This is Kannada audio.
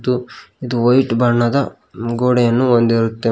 ಮತ್ತು ಇದು ವೈಟ್ ಬಣ್ಣದ ಗೋಡೆಯನ್ನು ಹೊಂದಿರುತ್ತೆ.